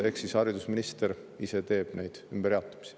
Ehk haridusminister ise teeb neid ümberjaotamisi.